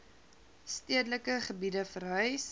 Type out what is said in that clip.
stedelike gebiede verhuis